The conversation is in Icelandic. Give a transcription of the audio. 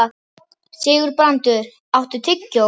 Sigurbrandur, áttu tyggjó?